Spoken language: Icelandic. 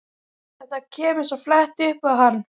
Þetta kemur svo flatt upp á hann.